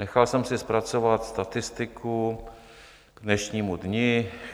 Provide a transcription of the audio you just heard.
Nechal jsem si zpracovat statistiku k dnešnímu dni.